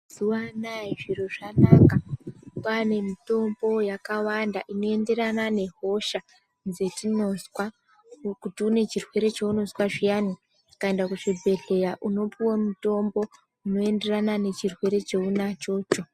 Mazuwaanaya zviro zvanaka kwaane mitombo yakawanda inoenderana nehosha dzatinozwa kuti une chirwere cheunozwa zvyani ulaenda kuzvibhedhleya unopened mutombo unoenderana nechirwere chaunacho.